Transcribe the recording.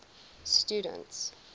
students